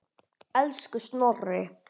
Elsku Snorri.